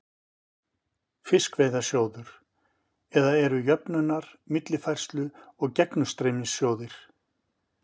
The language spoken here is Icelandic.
Fiskveiðasjóður, eða eru jöfnunar-, millifærslu- og gegnumstreymissjóðir.